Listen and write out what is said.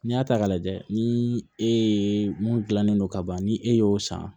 N'i y'a ta k'a lajɛ ni e ye mun dilannen don ka ban ni e y'o san